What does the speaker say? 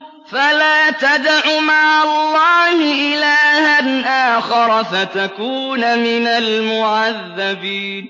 فَلَا تَدْعُ مَعَ اللَّهِ إِلَٰهًا آخَرَ فَتَكُونَ مِنَ الْمُعَذَّبِينَ